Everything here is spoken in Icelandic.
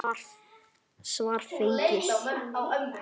Svar fengið.